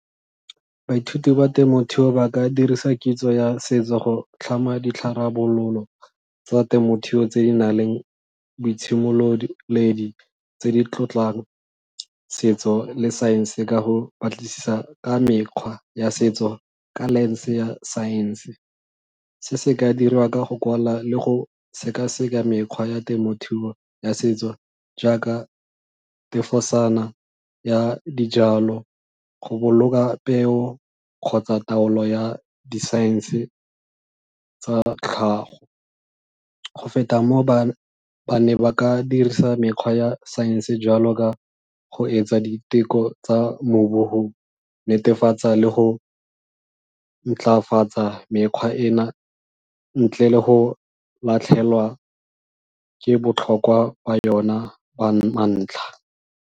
Baithuti ba temothuo ba ka dirisa kitso ya setso go tlhama tsa temothuo tse di nang le boitshimololedi tse di tlotlang setso le science ka go batlisisa ka mekgwa ya setso ka lens ya science se se ka dirwa ka go kwala le go seka-seka mekgwa ya temothuo ya setso jaaka ya dijalo go boloka peo kgotsa taolo ya di-science tsa tlhago. Go feta moo, ba ne ba ka dirisa mekgwa ya science jalo ka go etsa diteko tsa netefatsa tsa le go ntlafatsa mekgwa ena ntle le go latlhegelwa ke botlhokwa ba yona ba .